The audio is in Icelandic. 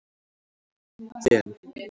Ben